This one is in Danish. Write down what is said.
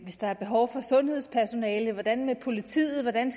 hvis der er behov for sundhedspersonale hvordan med politiet hvordan